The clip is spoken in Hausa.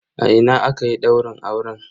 A ina akayi daurin auren?